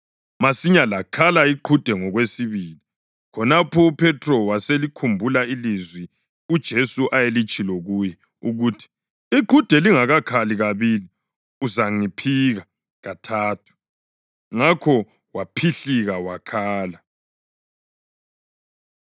Masinyane lakhala iqhude ngokwesibili. Khonapho uPhethro waselikhumbula ilizwi uJesu ayelitshilo kuye, ukuthi: “Iqhude lingakakhali kabili uzangiphika kathathu.” Ngakho waphihlika wakhala.